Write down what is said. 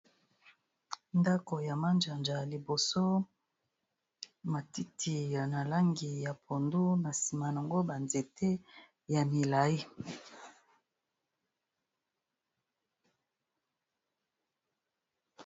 Ndako ya manjanja ya liboso matiti ya langi ya pondu na sima yango banzete ya milayi